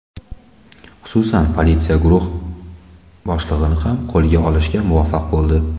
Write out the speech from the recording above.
Xususan, politsiya guruh boshlig‘ini ham qo‘lga olishga muvaffaq bo‘ldi.